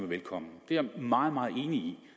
velkommen det er jeg meget meget enig